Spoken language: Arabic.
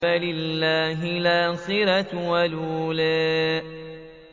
فَلِلَّهِ الْآخِرَةُ وَالْأُولَىٰ